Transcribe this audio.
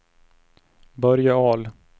Börje Ahl